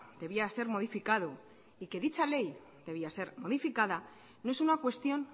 debía ser modificado y que dicha ley debía ser modificada no es una cuestión